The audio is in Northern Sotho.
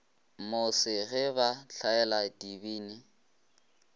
mose ge ba hlaela dibini